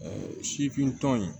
sifin tɔn in